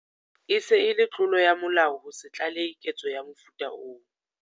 E se e le tlolo ya molao ho se tlalehe ketso ya mofuta oo.